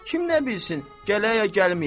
Kim nə bilsin, gələ ya gəlməyə.